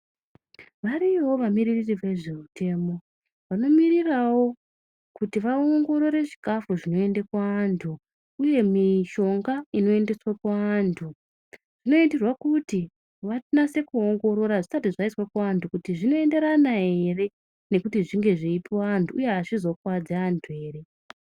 Variyowo vamiririri vezvemitemo vanomirirawo kuti vaongorore chikafu chinoende kuantu uye mishonga inoendeswe kuantu, zvinoitirwe kuti vanase kuongorora zvisati zvanase kuiswe kuantu kuti zvinoenderana ere nekuti zvinge zveipuwe antu uye azvizokuwadzi antu ere.